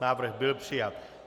Návrh byl přijat.